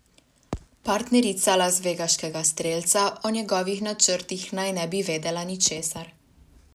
Partnerica lasvegaškega strelca o njegovih načrtih naj ne bi vedela ničesar.